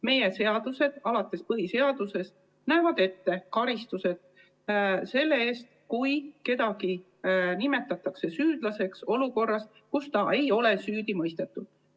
Meie seadused alates põhiseadusest näevad ette karistused selle eest, kui kedagi nimetatakse süüdlaseks siis, kui ta ei ole veel süüdi mõistetud.